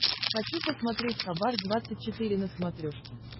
хочу посмотреть хабар двадцать четыре на смотрешке